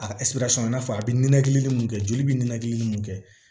A i n'a fɔ a bɛ ninakili mun kɛ joli bɛ ninakilili mun kɛ